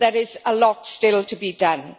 There is a lot still to be done.